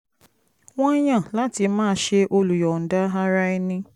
wọ́n yàn láti máa ṣe olùyọ̀ǹda ara ẹni